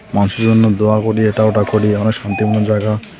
মানুষের জন্য দোয়া করি এটা ওটা করি অনেক শান্তিপূর্ণ জায়গা.